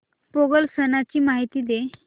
पोंगल सणाची माहिती दे